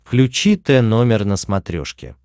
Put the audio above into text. включи т номер на смотрешке